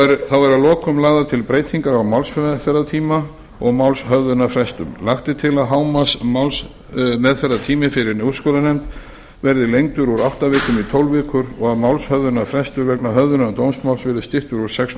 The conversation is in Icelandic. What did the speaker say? þá eru að lokum lagðar til breytingar á málsmeðferðartíma og málshöfðunarfrestum lagt er til að hámarksmálsmeðferðartími fyrir úrskurðarnefnd verði lengdur úr átta vikum í tólf vikur og að málshöfðunarfrestur vegna höfðunar dómsmáls verði styttur úr sex